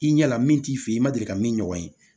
I ɲɛ la min t'i fɛ yen i ma deli ka min ɲɔgɔn ye